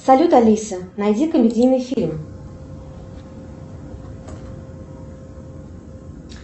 салют алиса найди комедийный фильм